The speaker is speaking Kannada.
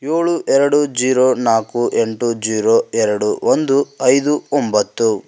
ಯೋಳು ಎರಡು ಜೀರೋ ನಾಲ್ಕು ಎಂಟು ಜೀರೋ ಎರಡು ಒಂದು ಐದು ಒಂಬತ್ತು--